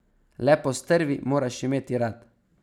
Le postrvi moraš imeti rad.